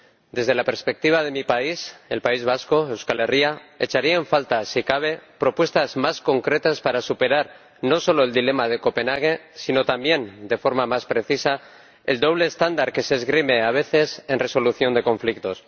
Desde la perspectiva de mi país, el País Vasco, Euskal Herria, echaría en falta, si cabe, propuestas más concretas para superar no solo el dilema de Copenhague sino también, de forma más precisa, el doble estándar que se esgrime a veces en la resolución de conflictos.